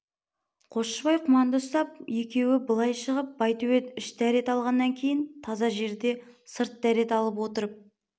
қосшыбай құманды ұстап екеуі былай шығып байтөбет іш дәрет алғаннан кейін таза жерде сырт дәрет алып отырып